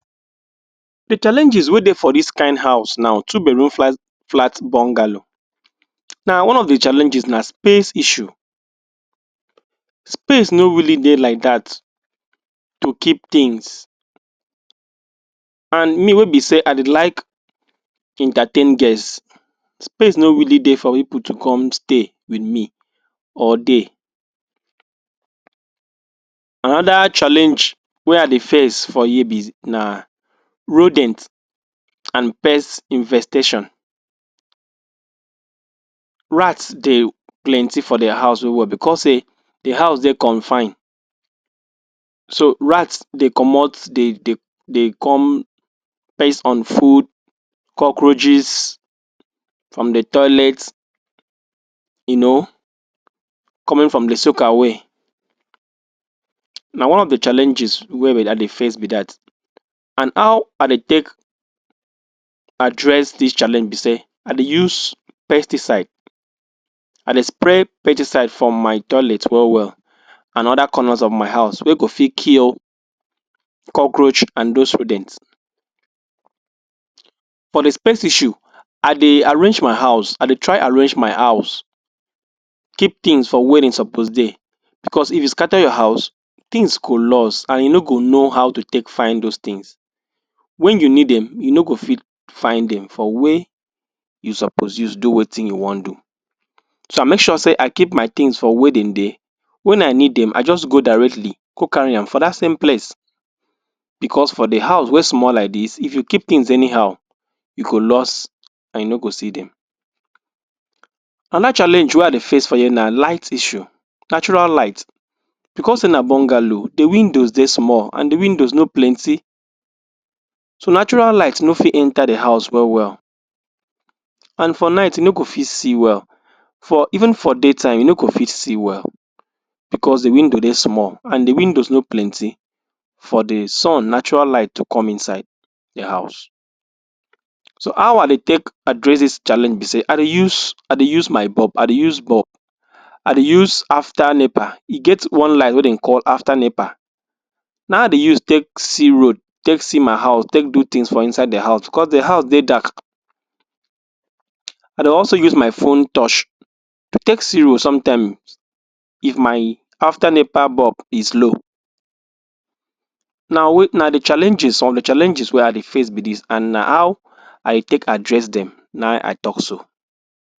the challenges wey dey for this kind house now two bedroom flat flat bungalow now one of the challenges na space issue space no really dey like that to keep things and me wey be say i dey like entertain guest space no really dey for? people to come stay with me or dey another challenge wey i dey face for here be naa??? and pest infestation rats dey plenty for their house well wellbecause say the house dey confined so rats dey comot dey dey dey come based on food cockroaches on the toilet you know coming from the sockaway na one of the challenges wey? i dey face be that and how i dey take address this challenge be say i dey use pesticide i dey spray pesticide from my toilet well well and other corners of my house we go fit kill cockroach and those rodent for the space issue i dey arrange my house idey try arrange my house keep things for were dem suppose dey because if you scatter your house things go lost and you no go know how to take find those things when you need demyou no fit find things for wey suppose use do wetin you wan do so i make sure say i keep my things for were dem dey when i need them i just go directly go carry am for that same place because for the house wey small like this if you keep things anyhow go lost and you no go see them and that challenge wey i dey face for here na light issue natural light because dey na bungalow the windows dey small and the windows dey plenty so natural light no fit enter the house well well and for night you no go fit see well for even for daytime you no go fit see well because the window dey small and the windows no plenty for the sun natural light to come inside the house so how i dey take address this challenge be say i dey use i dey use my bulb i dey use bulb i dey use after nepa e get one light wey dem call after nepa na him i dey use take see road take see my house take do things for inside the house because the house dey dark i dey also use my phone touch take see road sometime if my after nepa bulb is low na wey na the challenges all the challenges wey i dey face be this and na how i take address them na him i talk so